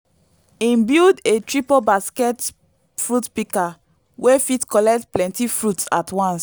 him build a triple basket fruit pika wey fit collect plenty fruits at once